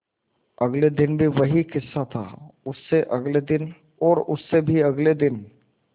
अगले दिन भी वही किस्सा था और उससे अगले दिन और उससे भी अगले दिन